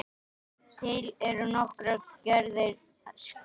Til eru nokkrar gerðir skema.